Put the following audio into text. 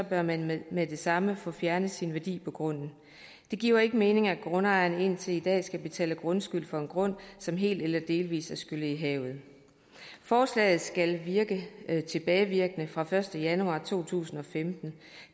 bør man med med det samme få fjernet sin værdi på grunden det giver ikke mening at grundejeren indtil i dag skal betale grundskyld for en grund som helt eller delvis er skyllet i havet forslaget skal virke med tilbagevirkende kraft fra første januar to tusind og femten